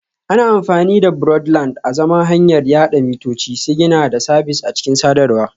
Ana amfani da Broadband azaman hanyar yada mitoci, sigina da sabis a cikin sadarwa